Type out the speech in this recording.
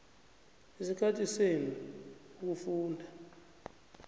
isikhathi senu ukufunda